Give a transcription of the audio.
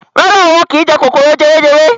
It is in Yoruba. Rárá o, wọ́n kín jẹ kòkòrò jewejewe.